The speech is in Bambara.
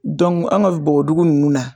an ka bɔbɔdugu ninnu na